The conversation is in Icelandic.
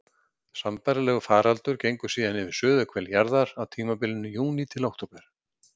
Sambærilegur faraldur gengur síðan yfir suðurhvel jarðar á tímabilinu júní til október.